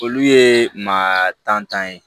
Olu ye maa tantan ye